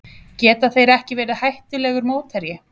Geta þeir ekki verið hættulegur mótherji?